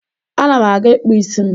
Ana m aga ịkpụ isi m.